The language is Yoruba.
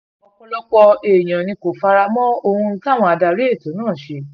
ọ̀pọ̀lọpọ̀ èèyàn ni kò fara mọ́ ohun táwọn adarí ètò náà ṣe